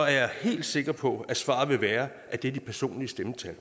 jeg helt sikker på at svaret vil være at det er de personlige stemmetal